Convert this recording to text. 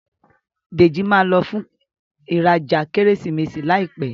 Deji má ló fún ìrajà Kérésìmesì láìpé.